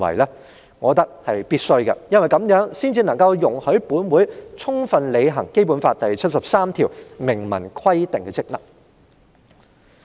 我覺得是必須的，因為這樣才能夠容許本會充分履行《基本法》第七十三條明文規定的職能。